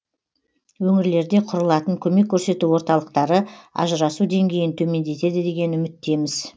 өңірлерде құрылатын көмек көрсету орталықтары ажырасу деңгейін төмендетеді деген үміттеміз